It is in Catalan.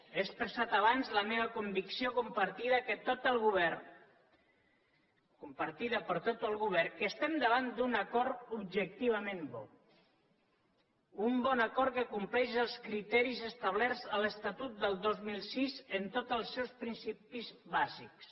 he expressat abans la meva convicció compartida per tot el govern que estem davant d’un acord objectivament bo un bon acord que compleix els criteris establerts a l’estatut del dos mil sis en tots els seus principis bàsics